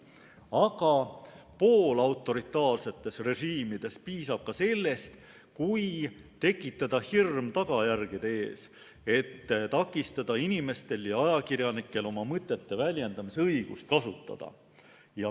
Aga poolautoritaarsetes režiimides piisab ka sellest, kui tekitada hirm tagajärgede ees, et takistada inimestel ja ajakirjanikel oma mõtete väljendamise õigust kasutada.